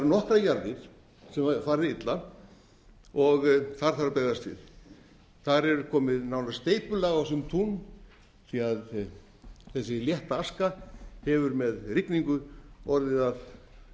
nokkrar jarðir sem hafa farið illa og þar þarf að bregðast við þar er komið nánast steypulag á sum tún því að þessi létta aska hefur með rigningu orðið að